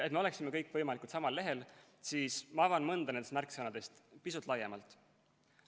Et me oleksime kõik võimalikult samal lehel, avan mõnda nendest märksõnadest pisut laiemalt.